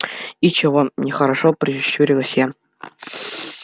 и чего нехорошо прищурилась я